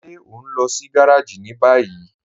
Ṣe o n lọ sí gàràjì ni báyì?